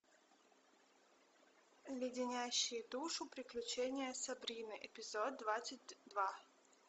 леденящие душу приключения сабрины эпизод двадцать два